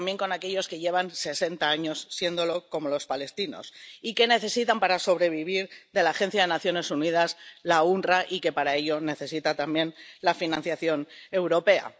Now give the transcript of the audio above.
y también para aquellos que llevan sesenta años siéndolo, como los palestinos, que necesitan para sobrevivir de la Agencia de Naciones Unidas, la UNRAW, que para ello necesita también la financiación europea.